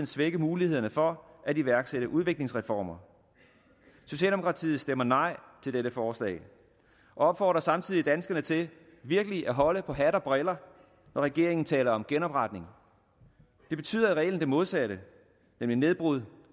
svække mulighederne for at iværksætte udviklingsreformer socialdemokratiet stemmer nej til dette forslag og opfordrer samtidig danskerne til virkelig at holde på hat og briller når regeringen taler om genopretning det betyder i reglen det modsatte nemlig nedbrud